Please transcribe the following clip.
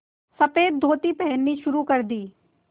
सफ़ेद धोती पहननी शुरू कर दी